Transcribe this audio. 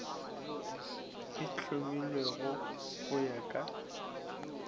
e hlomilwego go ya ka